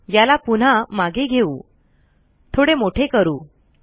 याला पुन्हा मागे घेऊ थोडे मोठे करू